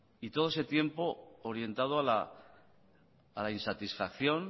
y todo ese tiempo orientado a la insatisfacción